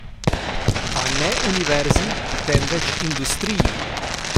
A ne univerzi, temveč industriji!